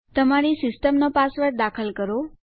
તમારી સિસ્ટમ નો પાસવર્ડ દાખલ કરો